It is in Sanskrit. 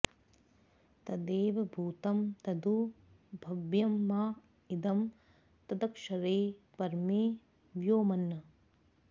तदे॒व भू॒तं तदु॒ भव्य॑मा इ॒दं तद॒क्षरे॑ पर॒मे व्यो॑मन्न्